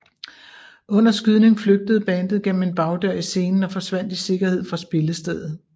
Under skydning flygtede bandet gennem en bagdør i scenen og forsvandt i sikkerhed fra spillestedet